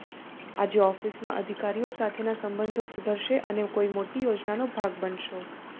આજે ઓફિસમાં અધિકારીઓ સાથેના સંબંધો સુધરશે અને કોઈ મોટી યોજનાનો ભાગ બનશો